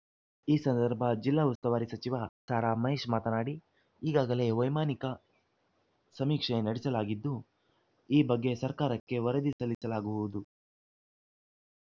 ಈ ಸಂದರ್ಭ ಜಿಲ್ಲಾ ಉಸ್ತುವಾರಿ ಸಚಿವ ಸಾರಾ ಮಹೇಶ್‌ ಮಾತನಾಡಿ ಈಗಾಗಲೇ ವೈಮಾನಿಕ ಸಮೀಕ್ಷೆ ನಡೆಸಲಾಗಿದ್ದು ಈ ಬಗ್ಗೆ ಸರ್ಕಾರಕ್ಕೆ ವರದಿ ಸಲ್ಲಿಸಲಾಗುವುದು